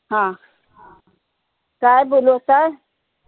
हा काय बोलू आता?